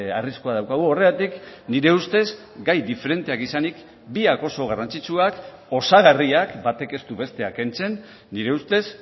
arriskua daukagu horregatik nire ustez gai diferenteak izanik biak oso garrantzitsuak osagarriak batek ez du bestea kentzen nire ustez